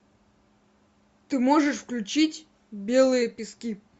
ты можешь включить белые пески